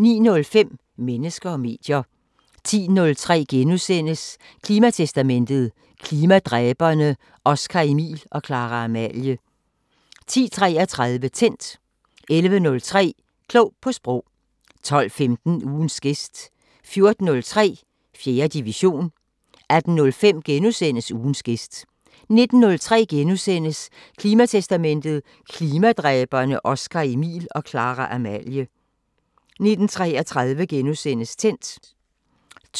09:05: Mennesker og medier 10:03: Klimatestamentet: Klimadræberne Oscar-Emil og Clara-Amalie * 10:33: Tændt 11:03: Klog på Sprog 12:15: Ugens gæst 14:03: 4. division 18:05: Ugens gæst * 19:03: Klimatestamentet: Klimadræberne Oscar-Emil og Clara-Amalie * 19:33: Tændt * 20:03: